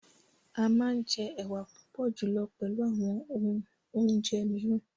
Amà njẹ ewà púpọ̀ julọ pẹlù àwọn òhun ò̩njẹ̀ miiran.